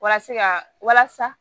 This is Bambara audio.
Walasa ka walasa